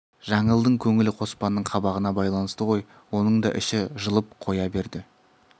жаңылдың көңілі қоспанның қабағына байланысты ғой оның да іші жылып қоя берді